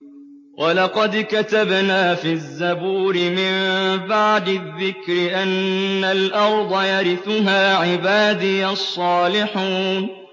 وَلَقَدْ كَتَبْنَا فِي الزَّبُورِ مِن بَعْدِ الذِّكْرِ أَنَّ الْأَرْضَ يَرِثُهَا عِبَادِيَ الصَّالِحُونَ